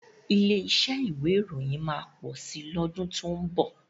Ilé iṣẹ́ ìwé ìròyìn máa pọ̀ si lọ́dún tó ń bọ̀.